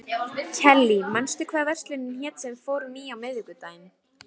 Og neyðin kennir mér að spinna.